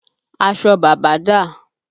Aṣọ bàbá dà?